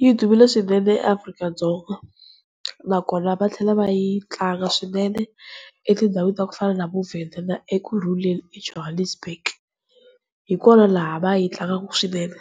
Yi dumile swinene eAfrika-Dzonga, nakona va tlhela va yi tlanga swinene etindhawini ta ku fana na vo Venda na Ekurhuleni eJohannesburg hikona laha va yi tlangaka swinene.